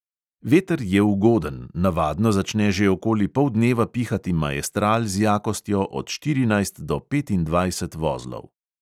Veter je ugoden, navadno začne že okoli poldneva pihati maestral z jakostjo od štirinajst do petindvajset vozlov.